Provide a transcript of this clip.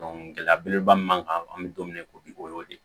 gɛlɛya belebeleba min m'an kan an be don min na i ko bi o y'o de ye